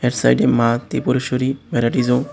এর সাইডে Maa Tripureshwari varieties home --